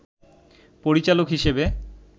পরিচালক হিসেবে